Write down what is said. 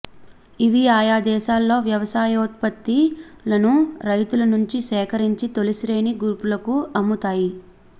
ఇవి ఆయా దేశాల్లో వ్యవసాయోత్పత్తులను రైతుల నుంచి సేకరించి తొలి శ్రేణి గ్రూపులకు అమ్ముతాయి